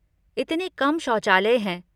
इतने कम शौचालय हैं।